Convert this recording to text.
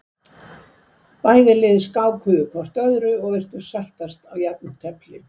Bæði lið bara skákuðu hvort öðru og virtust sættast á jafntefli.